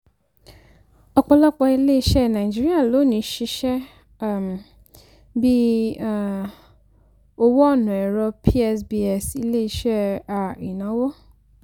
ọ̀pọ̀lọpọ̀ ilé-iṣẹ́ nàìjíríà lónìí ṣiṣẹ́ um bí um owó ọ̀nà ẹ̀rọ psbs ilé-iṣẹ́ um ìnáwó.